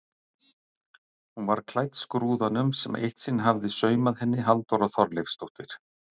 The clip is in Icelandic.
Hún var klædd skrúðanum sem eitt sinn hafði saumað henni Halldóra Þorleifsdóttir.